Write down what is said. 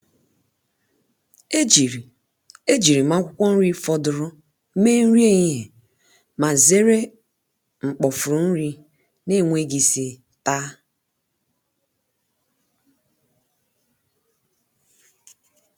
ejiri ejiri m akwụkwọ nri fọdụrụnụ mee nri ehihie ma zere mkpofu nri na-enweghị isi taa.